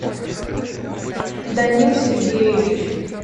данил сергеевич